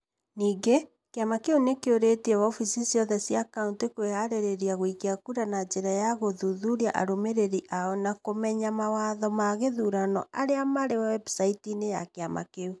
Ningĩ, kĩama kĩu nĩ kĩũrĩtie wabici ciothe cia kaũntĩ kwĩhaarĩria gũikia kura na njĩra ya gũthuthuria arũmĩrĩri ao na kũmenya mawatho ma gĩthurano arĩa marĩ webucaiti-inĩ ya kĩama kĩu.